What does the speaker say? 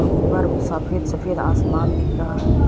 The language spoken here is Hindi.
ऊपर सफेद सफेद आसमान दिख रहा है।